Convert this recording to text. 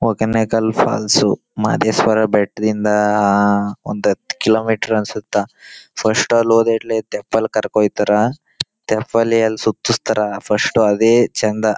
Hogenakkal falls Madeshwara ಬೆಟ್ಟದಿಂದ ಆಹ್ ಒಂದ್ ಹತ್ತ ಕಿಲೋಮೀಟರ್ ಅನ್ನ್ಸುತ್ತಾ ಫಸ್ಟ್ ಅಲ್ಲೋದ್ರೆ ಇಲ್ಲಿ ಟೆಂಪಲ್ ಕರಕೊಂಡ ಹೊಯೈತರ್ ಟೆಂಪಲಿ ಅಲ್ಲಿ ಸುತ್ತಸ್ತರ್ ಫಸ್ಟ್ ಅದೇ ಚಂದ.